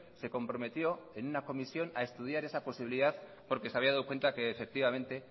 se comprometió en una comisión a estudiar esa posibilidad porque se había dado cuenta efectivamente